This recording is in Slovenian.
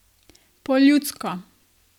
Po ljudsko.